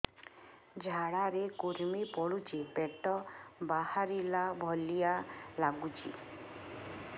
ଝାଡା ରେ କୁର୍ମି ପଡୁଛି ପେଟ ବାହାରିଲା ଭଳିଆ ଲାଗୁଚି